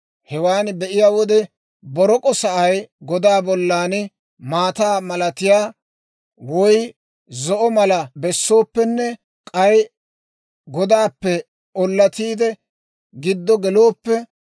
Hewaan be'iyaa wode, borok'o sa'ay godaa bollan maataa malatiyaa, woy zo'o malaa bessooppenne k'ay godaappe ollatiide giddo gelooppe,